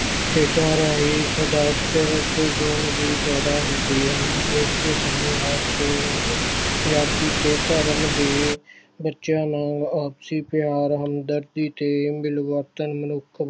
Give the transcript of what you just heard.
ਖੇਡਾਂ ਰਾਹੀਂ ਇਸਦਾ ਗੁਣ ਵੀ ਪੈਦਾ ਹੁੰਦੀਆਂ ਹਨ ਖੇਡਦੇ ਸਮੇਂ ਹਰ ਕੌਮ ਜਾਤੀ ਤੇ ਧਰਮ ਦੇ ਬੱਚਿਆਂ ਨਾਲ ਆਪਸੀ ਪਿਆਰ ਹਮਦਰਦੀ ਤੇ ਮਿਲਵਰਤਨ ਮਨੁੱਖ